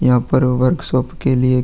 यहाँ पर workshop के लीये --